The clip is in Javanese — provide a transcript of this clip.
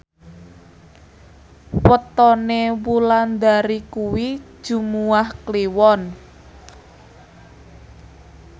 wetone Wulandari kuwi Jumuwah Kliwon